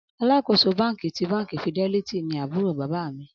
Alakoso banki ti banki fidelity ni ábúrò bábà mi